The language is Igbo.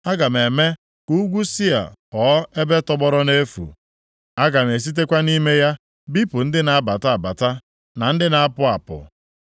Aga m eme ka ugwu Sia ghọọ ebe tọgbọrọ nʼefu. Aga m esitekwa nʼime ya bipụ ndị na-abata abata, na ndị na-apụ apụ.